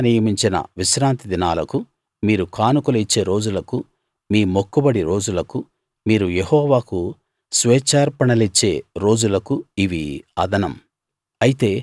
యెహోవా నియమించిన విశ్రాంతి దినాలకు మీరు కానుకలు ఇచ్చే రోజులకు మీ మొక్కుబడి రోజులకు మీరు యెహోవాకు స్వేచ్ఛార్పణలిచ్చే రోజులకు ఇవి అదనం